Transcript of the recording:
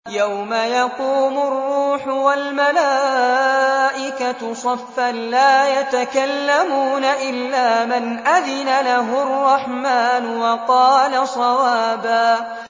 يَوْمَ يَقُومُ الرُّوحُ وَالْمَلَائِكَةُ صَفًّا ۖ لَّا يَتَكَلَّمُونَ إِلَّا مَنْ أَذِنَ لَهُ الرَّحْمَٰنُ وَقَالَ صَوَابًا